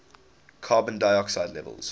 carbon dioxide levels